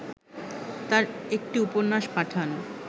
তাঁর একটি উপন্যাস পাঠান